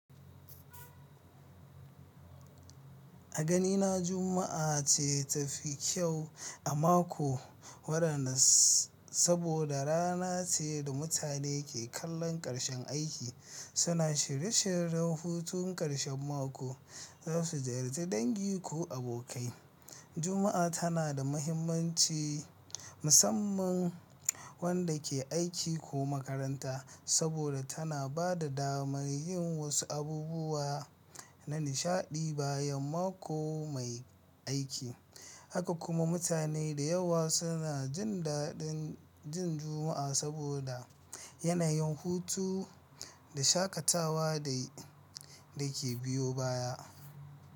A ganina Juma’a ce ta fi kyau a mako, wadanda saboda rana ce da mutane ke kallon ƙarshen aiki, suna shirye-shiryen hutun ƙarshen mako, za su ziyarci dangi ko abokai. Juma’a tana da mahimmanci musamman wanda ke aiki ko makaranta, saboda tana ba da damar yin wasu abubuwa na nishaɗi bayan mako mai aiki. Haka kuma mutane da yawa suna jin daɗin jin Juma’a saboda yanayin hutu da shakatawa da ke biyo baya.